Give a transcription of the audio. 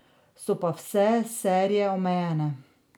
So pa vse serije omejene.